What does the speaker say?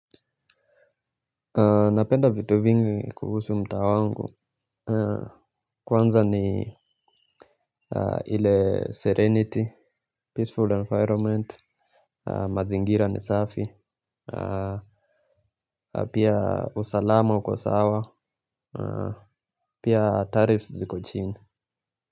Napenda vitu vingi kuhusu mtaa wangu. Kwanza ni ile serenity, peaceful environment, mazingira ni safi. Pia usalama uko sawa, pia taarifs ziko chini.